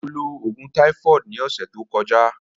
Mo lo oogun typhoid ni ọsẹ to kọja.